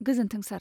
गोजोन्थों सार।